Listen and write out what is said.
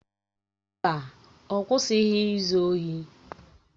Mba, ọ kwụsịghị izu ohi